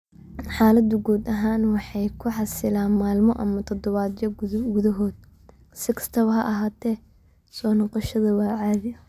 Xaaladdu guud ahaan waxay ku xalisaa maalmo ama toddobaadyo gudahood; si kastaba ha ahaatee, soo noqoshada waa caadi.